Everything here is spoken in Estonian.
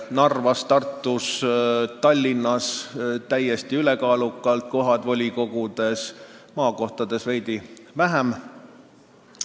Narvas, Tartus ja Tallinnas said nad täiesti ülekaalukalt kohad volikogudes, maakohtades veidi vähem.